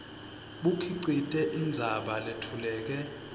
bukhicite indzaba letfuleke